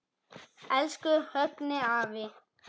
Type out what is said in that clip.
Elsku Högni afi.